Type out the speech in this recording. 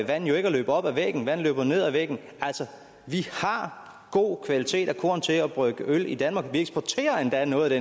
vand jo ikke at løbe op ad væggen vand løber ned ad væggen altså vi har god kvalitet af korn til at brygge øl af i danmark og vi eksporterer endda noget